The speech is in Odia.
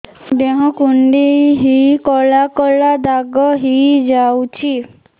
ଦେହ କୁଣ୍ଡେଇ ହେଇ କଳା କଳା ଦାଗ ହେଇଯାଉଛି